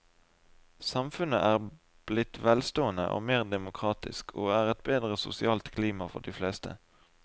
Samfunnet er blitt velstående og mer demokratisk, og er et bedre sosialt klima for de fleste.